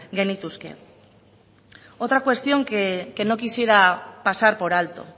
genituzke otra cuestión que no quisiera pasar por alto